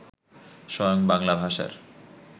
স্বয়ং বাংলা ভাষার